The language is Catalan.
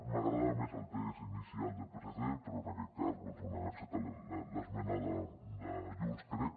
m’agradava més el text inicial del psc però en aquest cas bé han acceptat l’esmena de junts crec